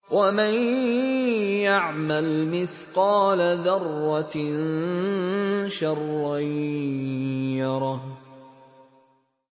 وَمَن يَعْمَلْ مِثْقَالَ ذَرَّةٍ شَرًّا يَرَهُ